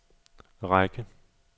række